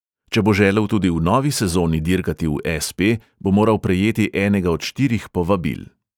Če bo želel tudi v novi sezoni dirkati v es|pe, bo moral prejeti enega od štirih povabil.